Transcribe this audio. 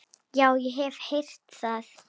Já, ég hef heyrt það.